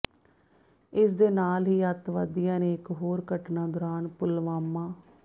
ਇਸ ਦੇ ਨਾਲ ਹੀ ਅੱਤਵਾਦੀਆਂ ਨੇ ਇੱਕ ਹੋਰ ਘਟਨਾ ਦੌਰਾਨ ਪੁਲਵਾਮਾ